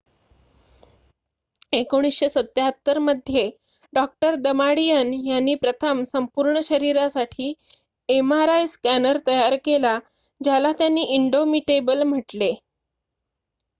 1977 मध्ये डॉ दमाडियन यांनी प्रथम संपूर्ण शरीरासाठी एमआरआय स्कॅनर तयार केला ज्याला त्यांनी इंडोमिटेबल म्हटले